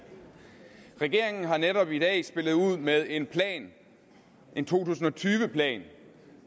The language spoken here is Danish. regeringen har netop i dag spillet ud med en plan en to tusind og tyve plan